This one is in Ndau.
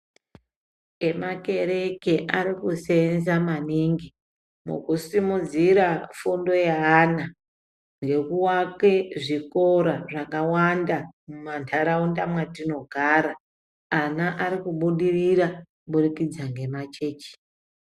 Emakereke arikuseenza maningi mukusimudzira fundo yeana ngekuake zvikora zvakawanda mumantaraunda mwatinogara. Ana arikubudirira kuburikidza ngemachechi.